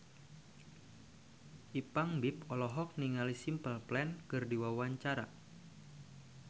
Ipank BIP olohok ningali Simple Plan keur diwawancara